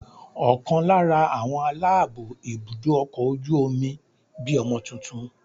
Ọ̀kan lára àwọn aláàbó ibùdó ọkọ̀ ojú omi bí ọmọ tuntun.